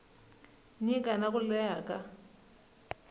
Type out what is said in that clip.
nyika na ku leha ka